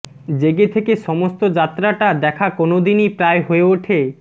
জেগে থেকে সমস্ত যাত্রাটা দেখা কোনোদিনই প্রায় হয়ে ওঠে